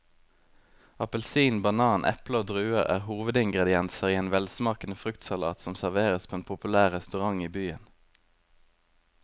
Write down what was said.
Appelsin, banan, eple og druer er hovedingredienser i en velsmakende fruktsalat som serveres på en populær restaurant i byen.